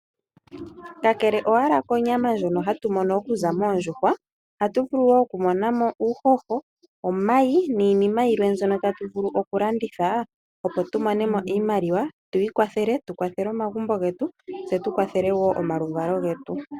Kakele konyama ndjono hatu mono okuza moondjuhwa. Ohatu vulu okumona mo uuhoho, omayi niinima yilwa ndyono tatu vulu okulanditha opo tumone mo iimaliwa tu ikwathele, tukwathele omagumbo getu tse tukwathele wo omaluvalo getu.